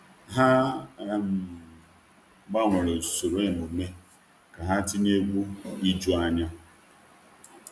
Ha um gbanwere usoro emume ka ha tinye egwu ijuanya.